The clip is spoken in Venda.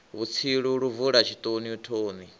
vhutsilu lu bvula tshitoni thoni